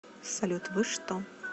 салют вы что